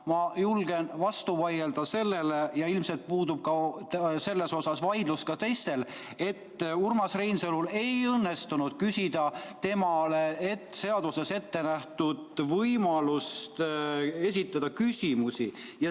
Ma julgen sellele vastu vaielda – ja ilmselt puudub selles suhtes vaidlus ka teistel –, sest Urmas Reinsalul ei õnnestunud küsida, kasutada temale seaduses ette nähtud võimalust esitada küsimusi.